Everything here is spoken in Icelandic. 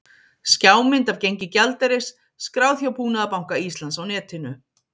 Skjámynd af gengi gjaldeyris, skráð hjá Búnaðarbanka Íslands á netinu